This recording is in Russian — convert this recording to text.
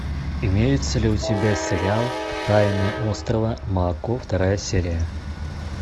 имеется ли у тебя сериал тайны острова мако вторая серия